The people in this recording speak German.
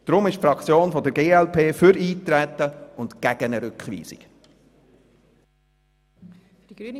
Deshalb ist die Fraktion glp für Eintreten und gegen eine Rückweisung.